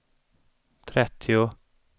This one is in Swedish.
trettio